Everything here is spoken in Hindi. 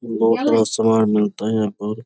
बहुत सामान मिलता है यहाँ पर --